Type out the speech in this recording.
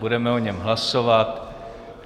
Budeme o něm hlasovat.